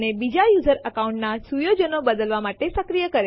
હવે શું થાય જો આપણે અજાણતામાં મહત્વપૂર્ણ ફાઈલ ઓવરરાઈત કરીએ